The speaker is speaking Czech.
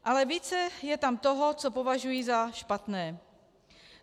Ale více je tam toho, co považuji za špatné.